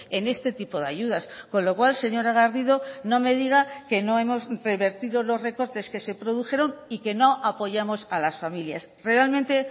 en este tipo de ayudas con lo cual señora garrido no me diga que no hemos revertido los recortes que se produjeron y que no apoyamos a las familias realmente